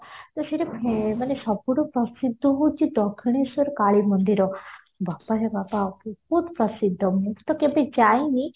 ତ ସେଠି ମାନେ ସବୁଠୁ ପ୍ରସିଦ୍ଧ ହଉଚି ଦକ୍ଷୀଣେଶ୍ଵର କାଳୀ ମନ୍ଦିର ବାବାରେ ବାବା ମୁଁ ତ କେବେ ଯାଇନି